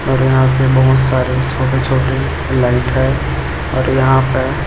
और यहां पे बहोत सारे छोटे छोटे लाइट है और यहां पर--